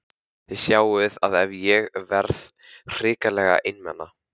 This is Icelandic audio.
Þið sjáið að ég hef verið hrikalega einmana!